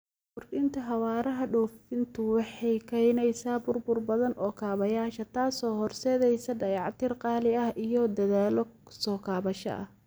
Kordhinta xawaaraha duufaantu waxay keenaysaa burbur badan oo kaabayaasha, taasoo horseedaysa dayactir qaali ah iyo dadaallo soo kabasho ah.